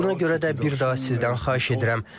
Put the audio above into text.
Buna görə də bir daha sizdən xahiş edirəm.